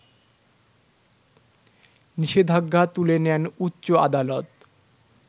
নিষেধাজ্ঞা তুলে নেন উচ্চ আদালত